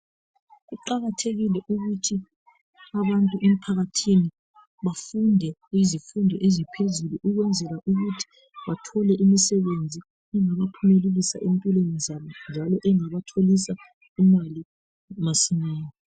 kuqakathekile ukuthi abantu emphakathi bafunde kuzifundo eziphezulu ukwenzela ukuthi bathole imisebezi engabaphumelelisa empilweni zabo njalo engabatholisa imali masinyane